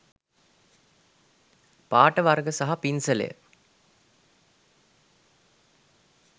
පාට වර්ග සහ පින්සලය